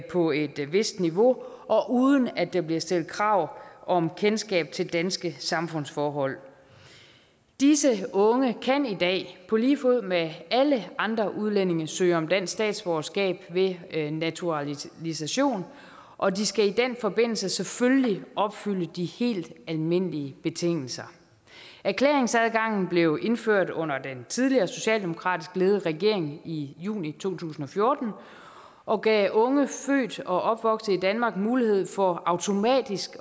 på et vist niveau og uden at der bliver stillet krav om kendskab til danske samfundsforhold disse unge kan i dag på lige fod med alle andre udlændinge søge om dansk statsborgerskab ved naturalisation og de skal i den forbindelse selvfølgelig opfylde de helt almindelige betingelser erklæringsadgangen blev indført under den tidligere socialdemokratisk ledede regering i juni to tusind og fjorten og gav unge født og opvokset i danmark mulighed for automatisk